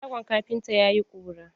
Shagon kafintan ya yi ƙura.